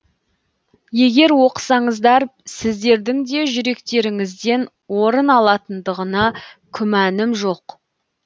егер оқысаңыздар сіздердің де жүректеріңізден орын алатындығына күмәнім жоқ